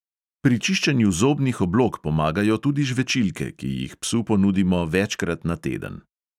Pri čiščenju zobnih oblog pomagajo tudi žvečilke, ki jih psu ponudimo večkrat na teden.